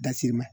Da sirimɛ